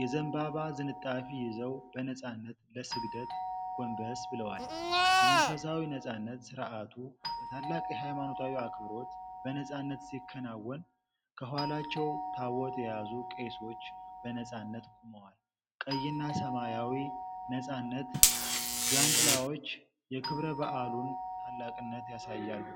የዘንባባ ዝንጣፊ ይዘው በነፃነት ለስግደት ጎንበስ ብለዋል። የመንፈሳዊ ነፃነት ሥርዓቱ በታላቅ የሃይማኖት አክብሮት በነፃነት ሲከናወን፣ ከኋላቸው ታቦት የያዙ ቄሶች በነፃነት ቆመዋል። ቀይና ሰማያዊ ነፃነት ዣንጥላዎች የክብረ በዓሉን ታላቅነት ያሳያሉ።